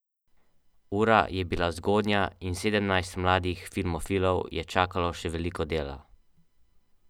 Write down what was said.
Zato verjamem, da se mora človek, če le ima možnost, od časa do časa malce odklopiti in delati tisto, kar ga veseli in osrečuje.